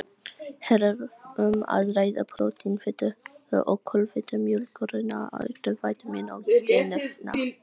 Hér er um að ræða prótín, fitu og kolvetni mjólkurinnar auk vítamína og steinefna.